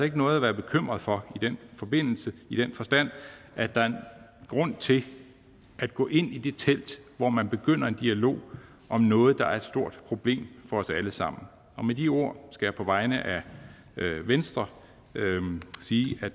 ikke noget at være bekymret for i den forbindelse i den forstand at der er en grund til at gå ind i det telt hvor man begynder en dialog om noget der er et stort problem for os alle sammen med de ord skal jeg på vegne af venstre sige at